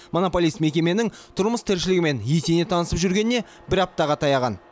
монополист мекеменің тұрмыс тіршілігімен етене танысып жүргеніне бір аптаға таяған